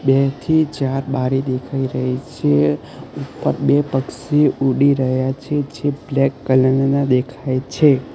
બે થી ચાર બારી દેખાઇ રહી છે ઉપર બે પક્ષી ઉડી રહ્યા છે જે બ્લેક કલર ના દેખાઇ છે.